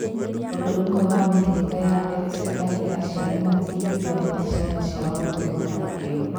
Ũndũ ũmwe wa mĩhĩrĩga ya X ni atĩ aciari matingĩtwarĩra ciana ciao mĩtugo ta ĩyo.